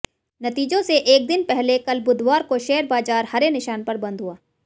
नतीजों से एक दिन पहले कल बुधवार को शेयर बाजार हरे निशान पर बंद हुआ